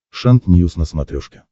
шант ньюс на смотрешке